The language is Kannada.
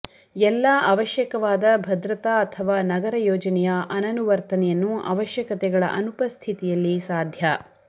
ಎಲ್ಲಾ ಅವಶ್ಯಕವಾದ ಭದ್ರತಾ ಅಥವಾ ನಗರ ಯೋಜನೆಯ ಅನನುವರ್ತನೆಯನ್ನು ಅವಶ್ಯಕತೆಗಳ ಅನುಪಸ್ಥಿತಿಯಲ್ಲಿ ಸಾಧ್ಯ